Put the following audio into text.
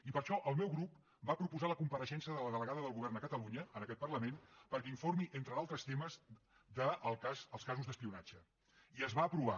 i per això el meu grup va proposar la compareixença de la delegada del govern a catalunya en aquest parlament perquè informi entre d’altres temes dels casos d’espionatge i es va aprovar